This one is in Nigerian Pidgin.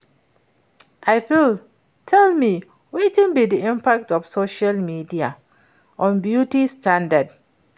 You fit tell me wetin be di impact of social media on beauty standards?